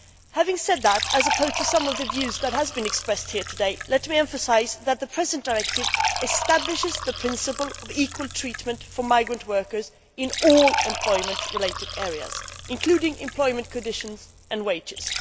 Having said that, contrary to some of the views that have been expressed here today, let me emphasise that the present directive establishes the principle of equal treatment for migrant workers in all employment related areas, including employment conditions and wages.